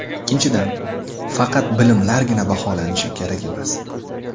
Ikkinchidan, faqat bilimlargina baholanishi kerak emas.